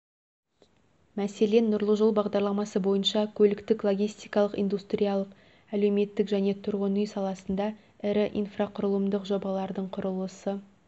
мәселен нұрлы жол бағдарламасы бойынша көліктік-логистикалық индустриялық әлеуметтік және тұрғын үй саласында ірі инфрақұрылымдық жобалардың құрылысы